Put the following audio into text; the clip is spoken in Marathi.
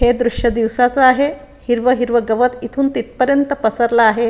हे दृश दिवसाचं आहे हिरवं हिरवं गवत इथून तिथपर्यंत पसरलं आहे.